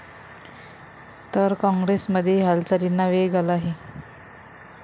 तर काँग्रेसमध्येही हालचालींना वेग आला आहे.